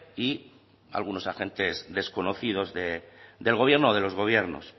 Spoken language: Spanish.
y algunos agentes desconocidos del gobierno o de los gobiernos